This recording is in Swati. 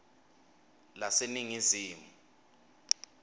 laseningizimu